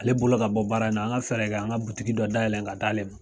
Ale bolo ka bɔ baara in na, an ga fɛɛrɛ kɛ, an ga butiki dɔ da yɛlɛlɛn ga d'ale ma.